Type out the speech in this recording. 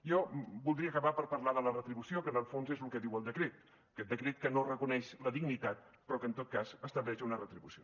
jo voldria acabar per parlar de la retribució que en el fons és lo que diu el decret aquest decret que no reconeix la dignitat però que en tot cas estableix una retribució